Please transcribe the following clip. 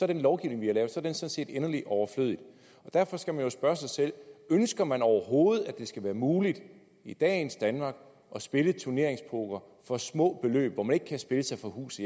den lovgivning vi har lavet sådan set inderlig overflødig derfor skal man jo spørge sig selv ønsker man overhovedet at det skal være muligt i dagens danmark at spille turneringspoker for små beløb hvor man ikke kan spille sig fra hus